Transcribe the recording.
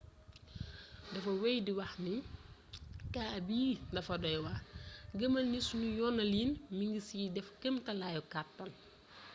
dafa wey di wax kaa bii dafa doy waar.gëmal ni sunu yoonalin mi ngi ciy def kemtalaayu kàttan.